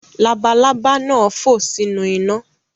Labalaba nà fo sinu ina